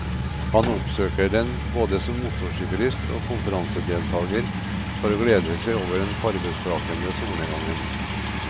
Han oppsøker den både som motorsyklist og konferansedeltager for å glede seg over den farvesprakende solnedgangen.